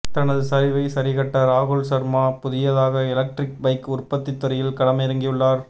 தனது சரிவை சரிகட்ட ராகுல் ஷர்மா புதியதாக எலக்ட்ரிக் பைக் உற்பத்தி துறையில் களமிறங்கியுள்ளார்